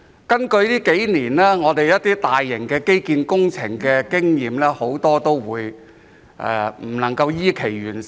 根據這數年我們進行一些大型基建工程的經驗，很多工程都未能依期完成。